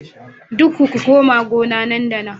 Dukku ku koma gona nan da nan